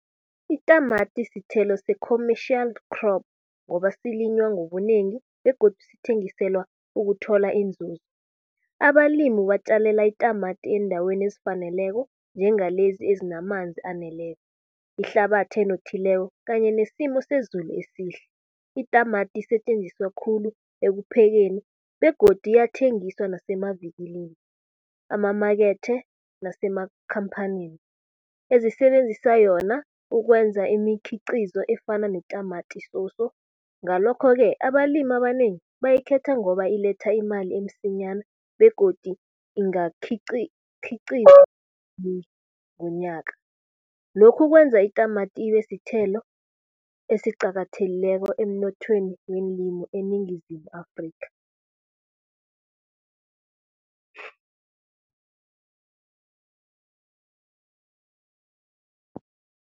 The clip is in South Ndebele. Itamati sithelo se-commercial crop ngoba silinywa ngobunengi begodu sithengiselwa ukuthola inzuzo. Abalimi batjalela itamati eendaweni ezifaneleko, njengalezi ezinamanzi aneleko, ihlabathi enothileko kanye nesimo sezulu esihle. Itamati isetjenziswa khulu ekuphekeni begodu iyathengiswa nasemavikilini, amamakethe nasemakhampanini ezisebenzisa yona ukwenza imikhiqizo efana netamati soso. Ngalokho-ke abalimi abanengi, bayikhetha ngoba iletha imali emsinyana begodu ingakhiqiza ngonyaka. Lokhu kwenza itamati ibe sithelo esiqakathekileko, emnothweni weenlimi eNingizimu Afrikha.